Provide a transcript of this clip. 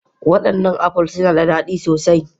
Wadannan apples suna da dadi sosai